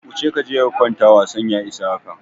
Wuce kaje ka kwanta wasan ya isa haka!